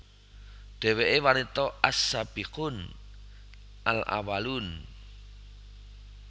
Dheweke wanita as Sabiqun al Awwalun